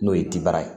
N'o ye tibara ye